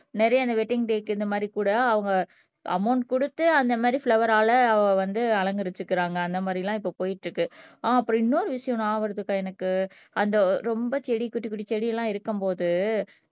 நிறைய அந்த வெட்டிங் டேக்கு இந்த மாதிரி கூட அவங்க அமௌன்ட் கொடுத்து அந்த மாதிரி பிலோவேர்ரால அவள் வந்து அலங்கரிச்சுக்கறாங்க அந்த மாதிரி எல்லாம் இப்ப போயிட்டு இருக்கு ஆஹ் அப்புறம் இன்னொரு ஞாபகம் வருதுக்கா எனக்கு அந்த ரொம்ப செடி குட்டி குட்டி செடி எல்லாம் இருக்கும்போது